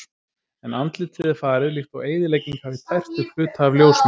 En andlitið er farið líkt og eyðilegging hafi tært upp hluta af ljósmynd.